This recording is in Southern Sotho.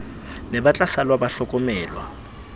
ne ba tlasala ba hlokomelwa